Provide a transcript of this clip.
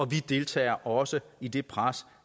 deltager også i det pres